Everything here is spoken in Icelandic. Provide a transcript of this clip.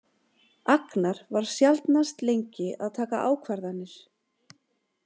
Agnar var sjaldnast lengi að taka ákvarðanir.